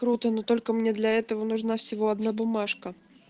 круто но только мне для этого нужна всего одна бумажка